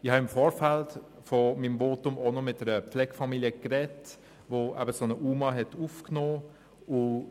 Ich habe im Vorfeld meines Votums auch noch mit einer Pflegefamilie gesprochen, die einen UMA aufgenommen hat.